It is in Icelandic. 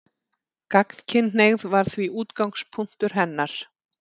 Gagnkynhneigð var því útgangspunktur hennar.